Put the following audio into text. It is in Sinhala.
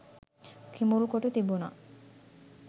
කිඹුල් කොටු තිබුණා.